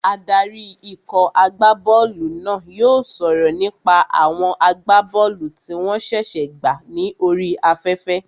Adarí ikọ̀ agbá bọ́ọ̀lù náà yóò sọ̀rọ̀ nípa àwọn agbá bọ́ọ̀lù tí wọ́n ṣẹ̀ṣẹ̀ gbà ní orí afẹ́fẹ́